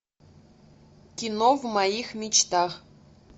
кино в моих мечтах